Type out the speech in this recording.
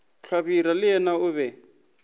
hlabirwa le yena o be